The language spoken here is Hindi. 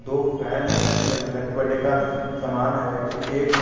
वो फैन है इधर में हैप्पी बर्थडे का समान है एक केक है।